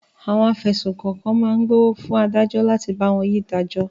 Àwọn afẹ̀sùnkàn kọ̀ọ̀kan máa gbówó fún adájọ́ láti bá wọn yí ìdájọ́.